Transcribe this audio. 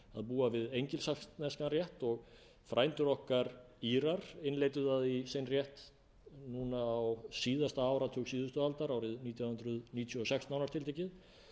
búa við engilsaxneskan rétt og frændur okkar írar innleiddu það í sinn rétt á síðasta áratug síðustu aldar árið nítján hundruð níutíu og sex nánar tiltekið